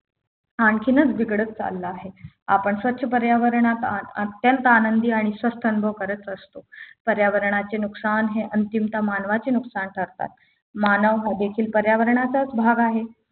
आणखीनच बिघडत चालला आहे आपण स्वच्छ पर्यावरणात अत्यंत आनंद आणि स्वस्थ अनुभव करत असतो पर्यावरणाचे नुकसान हे अंतिमता मानवाचे नुकसान ठरतात मानव हा देखील पर्यावरणाचा भाग आहे